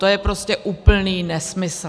To je prostě úplný nesmysl.